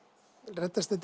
reddast þetta